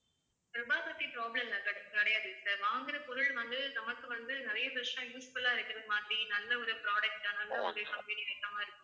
ரூபாவ பத்தி problem லாம் கிடை~ கிடையாது sir வாங்குற பொருள் வந்து நமக்கு வந்து நிறைய வருஷம் useful ஆ இருக்கிற மாதிரி நல்ல ஒரு product ஆ நல்ல ஒரு company இந்த மாதிரி